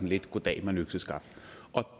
lidt goddag mand økseskaft og